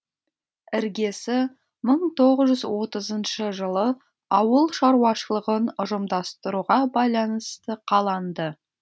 іргесі мың тоғыз жүз отызыншы жылы ауыл шаруашылығын ұжымдастыруға байланысты қаланды